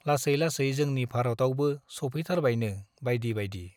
लासै लासै जोंनि भारतआवबो सौफैथारबायनो बाइदि बाइदि ।